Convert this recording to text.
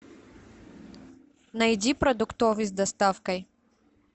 найди продуктовый с доставкой